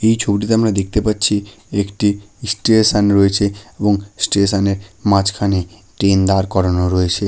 এই ছবিটিতে আমরা দেখতে পাচ্ছি একটি স্টেশন রয়েছে এবং স্টেশন -এর মাঝখানে ট্রেন দাঁড় করানো রয়েছে ।